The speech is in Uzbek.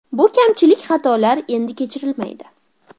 Bu kamchilik-xatolar endi kechirilmaydi.